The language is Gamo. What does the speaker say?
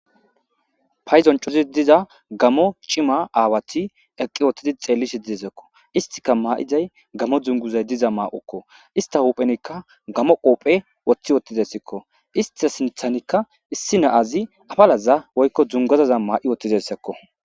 Payidon coridi diza gamo cima aawati eqqi wothi xeellishe dizako, isttika maayiday gamo dunguzako ista huphenika gamo qoope wothi uttideskosko,ista sinthanika issi na7azika apalaza duguzaza ma7i uttidesko.